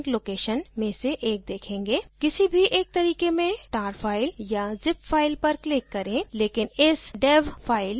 किसी भी एक तरीके में tar file या zip file पर click करें लेकिन इस dev file पर click न करें क्योंकि वो कार्य नहीं करेगी